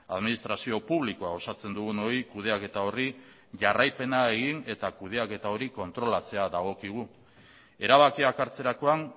administrazio publikoa osatzen dugunoi kudeaketa horri jarraipena egin eta kudeaketa hori kontrolatzea dagokigu erabakiak hartzerakoan